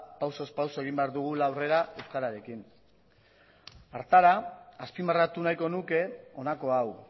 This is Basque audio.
pausuz pausu egin behar dugula aurrera euskararekin hartara azpimarratu nahiko nuke honako hau